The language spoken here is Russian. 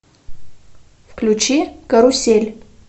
включи карусель